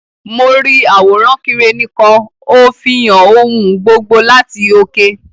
Mo ri àwòrán Kireni kan; o fihàn ohùn gbogbo láti oke.